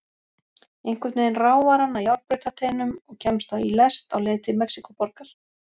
Einhvern veginn ráfar hann að járnbrautarteinum og kemst í lest á leið til Mexíkóborgar.